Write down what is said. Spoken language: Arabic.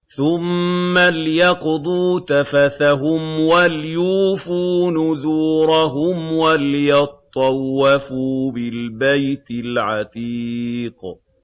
ثُمَّ لْيَقْضُوا تَفَثَهُمْ وَلْيُوفُوا نُذُورَهُمْ وَلْيَطَّوَّفُوا بِالْبَيْتِ الْعَتِيقِ